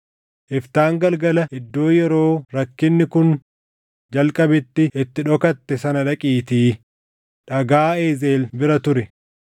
Iftaan galgala iddoo yeroo rakkinni kun jalqabetti itti dhokatte sana dhaqiitii dhagaa Ezeel bira turi.